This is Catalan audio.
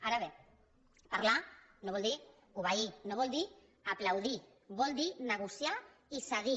ara bé parlar no vol dir obeir no vol dir aplaudir vol dir negociar i cedir